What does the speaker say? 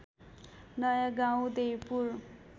नयाँ गाउँ देउपुर